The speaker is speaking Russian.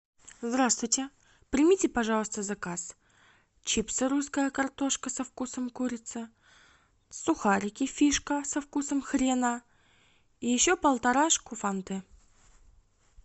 здравствуйте примите пожалуйста заказ чипсы русская картошка со вкусом курицы сухарики фишка со вкусом хрена и еще полторашку фанты